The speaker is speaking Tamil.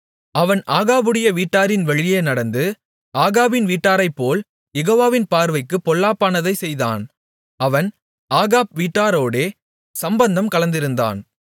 அவன் ஆகாபுடைய வீட்டாரின் வழியே நடந்து ஆகாபின் வீட்டாரைப்போல் யெகோவாவின் பார்வைக்குப் பொல்லாப்பானதைச் செய்தான் அவன் ஆகாப் வீட்டாரோடே சம்பந்தம் கலந்திருந்தான்